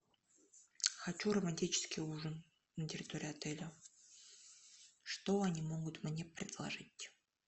хочу романтический ужин на территории отеля что они могут мне предложить